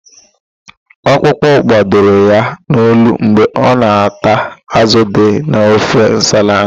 Okpụkpụ gbadoro ya n'olu mgbe ọ na-ata ázụ̀ dị n'ofe nsala ahụ.